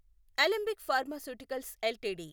Alembic Pharmaceuticals LTD